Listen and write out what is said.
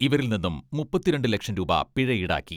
ഇവരിൽ നിന്നും മുപ്പത്തിരണ്ട് ലക്ഷം രൂപ പിഴ ഈടാക്കി.